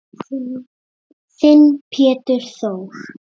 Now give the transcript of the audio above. Þinn Pétur Þór.